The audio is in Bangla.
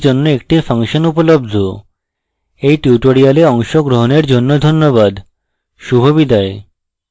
এই tutorial অংশগ্রহনের জন্য ধন্যবাদ শুভবিদায়